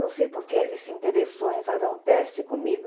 Não sei por que ele se interessou em fazer um teste comigo.